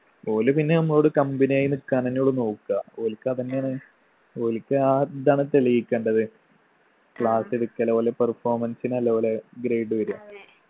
ഓല് പിന്നെ അമ്മളോട് company ആയി നിക്കാനെന്നയാ ഓല് നോക്ക്ആ ഓല്ക്ക് അതെന്നെയാണ് ഓല്ക്ക് ആ ഇതാണ് തെളിയിക്കണ്ടത് class എടുക്കലോ അല്ലെ performance നു അല്ല ഓലെ grade വരുഅ